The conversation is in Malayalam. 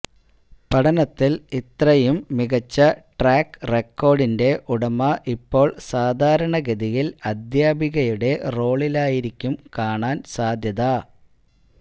പഠനത്തില് ഇത്രയും മികച്ച ട്രാക്ക് റെക്കോര്ഡിന്റെ ഉടമ ഇപ്പോള് സാധാരണഗതിയില് അധ്യാപികയുടെ റോളിലായിരിക്കും കാണാന് സാധ്യത